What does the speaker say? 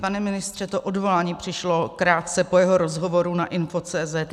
Pane ministře, to odvolání přišlo krátce po jeho rozhovoru na info.cz